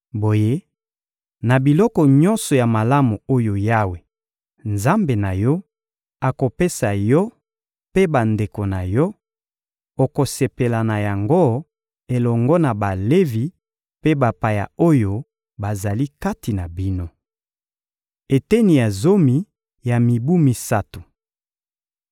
Boye, na biloko nyonso ya malamu oyo Yawe, Nzambe na yo, akopesa yo mpe bandeko na yo; okosepela na yango elongo na Balevi mpe bapaya oyo bazali kati na bino. Eteni ya zomi ya mibu misato